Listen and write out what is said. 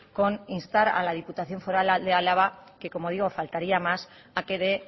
con instar a la diputación foral de álava que como digo faltaría más a que de